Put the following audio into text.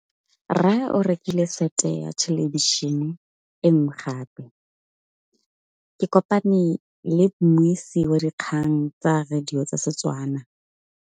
Rre o rekile sete ya thêlêbišênê e nngwe gape. Ke kopane mmuisi w dikgang tsa radio tsa Setswana.